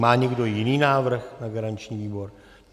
Má někdo jiný návrh na garanční výbor?